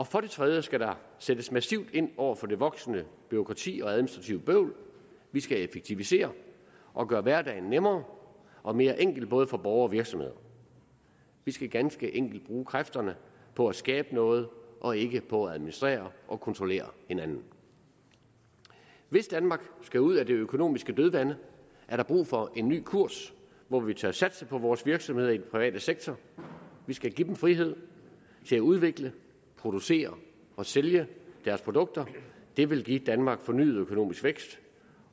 for det tredje skal der sættes massivt ind over for det voksende bureaukrati og det administrative bøvl vi skal effektivisere og gøre hverdagen nemmere og mere enkel både for borgere og virksomheder vi skal ganske enkelt bruge kræfterne på at skabe noget og ikke på at administrere og kontrollere hinanden hvis danmark skal ud af det økonomiske dødvande er der brug for en ny kurs hvor vi tør satse på vores virksomheder i den private sektor vi skal give dem frihed til at udvikle producere og sælge deres produkter det vil give danmark fornyet økonomisk vækst